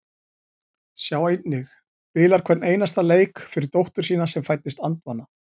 Sjá einnig: Spilar hvern einasta leik fyrir dóttur sína sem fæddist andvana